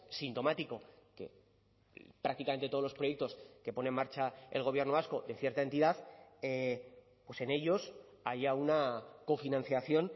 sintomático que prácticamente todos los proyectos que pone en marcha el gobierno vasco de cierta entidad pues en ellos haya una cofinanciación